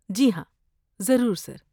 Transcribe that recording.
جی ہاں، ضرور، سر۔